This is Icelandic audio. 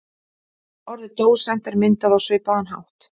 Orðið dósent er myndað á svipaðan hátt.